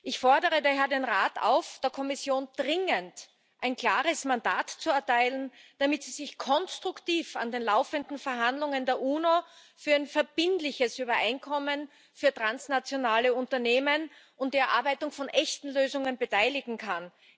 Ich fordere daher den Rat auf, der Kommission dringend ein klares Mandat zu erteilen, damit sie sich konstruktiv an den laufenden Verhandlungen der UNO für ein verbindliches Übereinkommen für transnationale Unternehmen und die Erarbeitung von echten Lösungen beteiligen kann.